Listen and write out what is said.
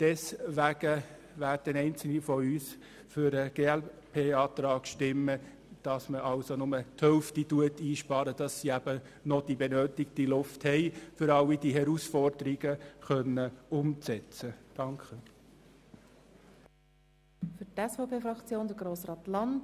Dies aber nicht im vollen Umfang, damit sie noch die nötige Luft haben, um all die Herausforderungen umsetzen zu können.